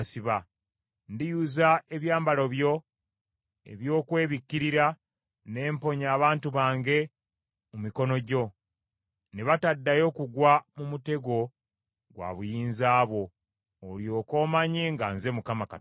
Ndiyuza ebyambalo byo ebyokwebikkirira, ne mponya abantu bange mu mikono gyo, ne bataddayo kugwa mu mutego gwa buyinza bwo, olyoke omanye nga nze Mukama Katonda.